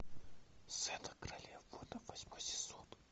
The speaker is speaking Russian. зена королева воинов восьмой сезон